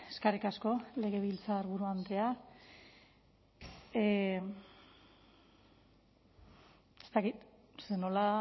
eskerrik asko legebiltzarburu andrea ez dakit ze nola